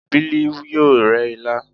Bili yoo re ila